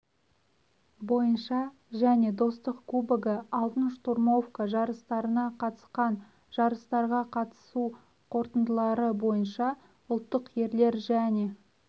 бойынша және достық кубогі алтын штурмовка жарыстарына қатысқан жарыстарға қатысу қорытындылары бойынша ұлттық ерлер және